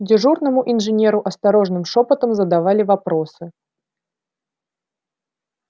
дежурному инженеру осторожным шёпотом задавали вопросы